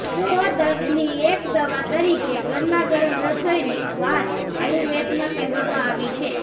સો દર્દની એક દવા તરીકે ગરમાગરમ રસોઈની વાત આયુર્વેદમાં કહેવામાં આવી છે